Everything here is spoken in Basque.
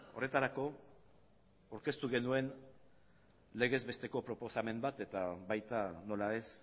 horretarako aurkeztu genuen legez besteko proposamen bat eta baita nola ez